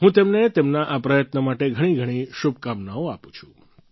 હું તેમને તેમના આ પ્રયત્ન માટે ઘણીઘણી શુભેકામનાઓ આપું છું